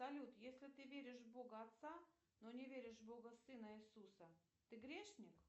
салют если ты веришь в бога отца но не веришь в бога сына иисуса ты грешник